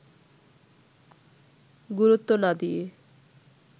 গুরুত্ব না দিয়ে